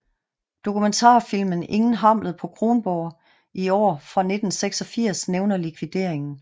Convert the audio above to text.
Dokumentarfilmen Ingen Hamlet på Kronborg i år fra 1986 nævner likvideringen